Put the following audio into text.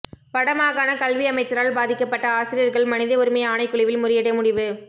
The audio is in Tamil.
வடமாகாணக் கல்வி அமைச்சரால் பாதிக்கப்பட்ட ஆசிரியர்கள் மனித உரிமை ஆணைக்குழுவில் முறையிட முடிவு